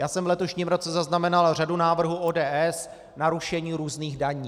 Já jsem v letošním roce zaznamenal řadu návrhů ODS na rušení různých daní.